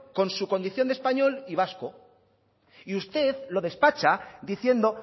con su condición de español y vasco y usted lo despacha diciendo